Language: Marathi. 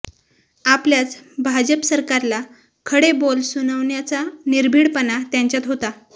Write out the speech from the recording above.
आपल्याच भाजप सरकारला खडे बोल सुनावण्याचा निर्भीडपणा त्यांच्यात होता